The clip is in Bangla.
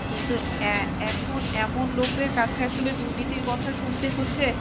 কিন্তু এখন এমন লোকদের কাছে আসলে দুর্নীতির কথা শুনতে হচ্ছে